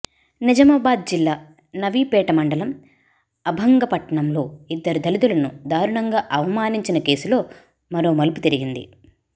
నిజామాబాద్ జిల్లా నవీపేట మండలం అభంగపట్నంలో ఇద్దరు దళితులను దారుణంగా అవమానించిన కేసులో మరో మలుపు తిరిగింది